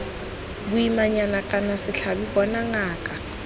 boimanyana kana setlhabi bona ngaka